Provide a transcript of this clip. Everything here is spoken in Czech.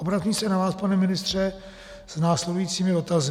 Obracím se na vás, pane ministře, s následujícími dotazy.